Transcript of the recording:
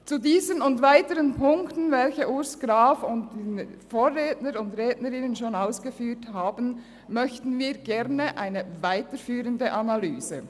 Zu diesen und weiteren Punkten, die Urs Graf und meine Vorredner und Vorrednerinnen schon ausgeführt haben, möchten wir gerne eine weiterführende Analyse.